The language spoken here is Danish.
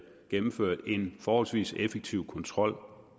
gennemført en forholdsvis effektiv kontrol